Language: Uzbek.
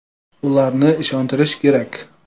Ularni ishontirish kerak.